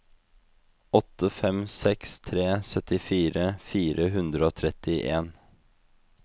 åtte fem seks tre syttifire fire hundre og trettien